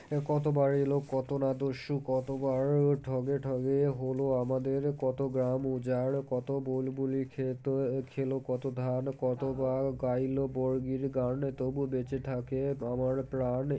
কতবার এলো কত না দস্যু কতবার ঠগে ঠগে হলো আমাদের কত গ্রাম উজার কত বুলবুলি খেত খেল কত ধান কতবার গাইল বর্গীর গান তবু বেঁচে থাকে আমার প্রাণ